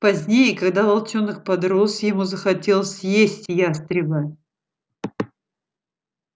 позднее когда волчонок подрос ему захотелось съесть ястреба